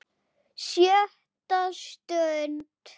SJÖTTA STUND